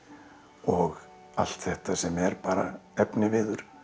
og allt þetta sem er bara efniviður